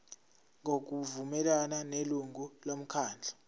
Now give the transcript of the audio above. ngokuvumelana nelungu lomkhandlu